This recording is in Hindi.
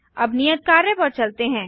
अब नियत कार्य पर चलते हैं